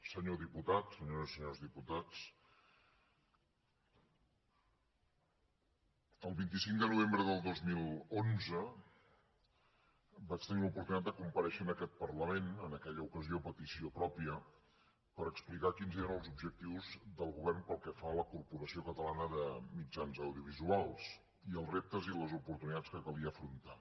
senyor diputat senyores i senyors diputats el vint cinc de novembre del dos mil onze vaig tenir l’oportunitat de comparèixer en aquest parlament en aquella ocasió a petició pròpia per explicar quins eren els objectius del govern pel que fa a la corporació catalana de mitjans audiovisuals i els reptes i les oportunitats que calia afrontar